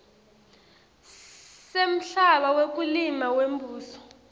semhlaba wekulima wembuso